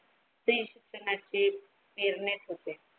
ते कोणाची होते.